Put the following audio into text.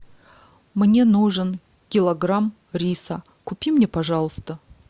мне нужен килограмм риса купи мне пожалуйста